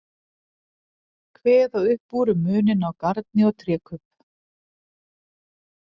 Kveða upp úr um muninn á garni og trékubb.